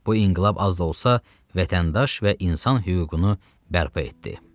Bu inqilab az da olsa vətəndaş və insan hüququnu bərpa etdi.